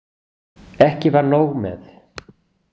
Ekki var nóg með.